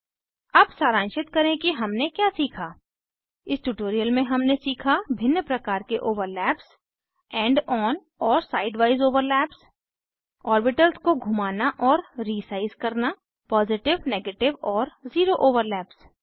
अब सारांशित करें कि हमने क्या सीखा इस ट्यूटोरियल में हमने सीखा भिन्न प्रकार के ओवरलैप्स एंड ऑन और साइड वाइज ओवरलैप्स ओर्बिटल्स को घुमाना और रीसाइज़ करना पॉजिटिव नेगेटिव और ज़ीरो ओवरलैप्स